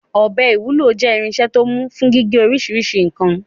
Ọ̀bẹ ìwúlò jẹ́ irinṣẹ́ tó mú fún gígé oríṣiríṣi nǹkan.